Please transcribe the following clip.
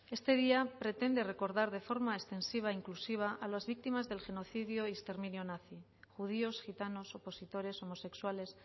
este día pretende recordar de forma intensiva e inclusiva a las víctimas del genocidio y exterminio nazi judíos gitanos opositores homosexuales